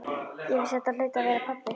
Ég vissi að þetta hlaut að vera pabbi.